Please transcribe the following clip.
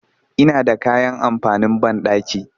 Ina da kayan amfanin banɗaki